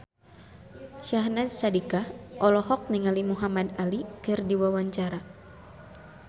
Syahnaz Sadiqah olohok ningali Muhamad Ali keur diwawancara